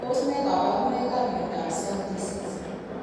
Tos ne kaborunoikap miondopI cell disease?